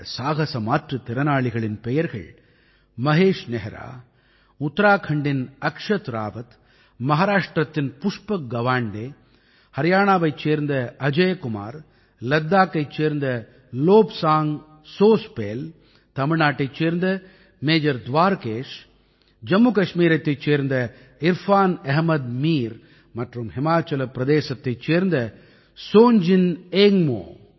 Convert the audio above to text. இந்த சாகஸ மாற்றுத்திறனாளிகளின் பெயர்கள் மஹேஷ் நெஹ்ரா உத்தராக்கண்டின் அக்ஷத் ராவத் மஹாராஷ்ட்டிரத்தின் புஷ்பக் கவாண்டே ஹரியாணாவைச் சேர்ந்த அஜய் குமார் லத்தாக்கைச் சேர்ந்த லோப்சாங் சோஸ்பேல் தமிழ்நாட்டைச் சேர்ந்த மேஜர் துவாரகேஷ் ஜம்முகஷ்மீரத்தைச் சேர்ந்த இர்ஃபான் அஹ்மத் மீர் மற்றும் ஹிமாச்சல பிரதேசத்தைச் சேர்ந்த சோஞ்ஜின் ஏங்க்மோ